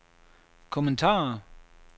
kommentarer